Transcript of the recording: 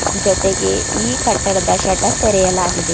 ಜೊತೆಗೆ ಈ ಕಟ್ಟಡದ ಶಟರ್ ತೆಗೆಯಲಾಗಿದೆ.